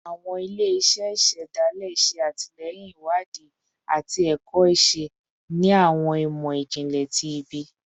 Awọn ile-iṣẹ isedale ṣe atilẹyin iwadii ati ẹkọ iṣe ni awọn imọ-jinlẹ ti ibi